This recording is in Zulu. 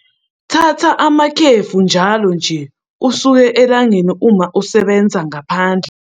Thatha amakhefu njalo nje usuke elangeni uma usebenza ngaphandle.